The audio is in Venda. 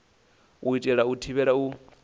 u itela u thivhela u